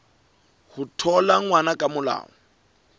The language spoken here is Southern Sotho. ho thola ngwana ka molao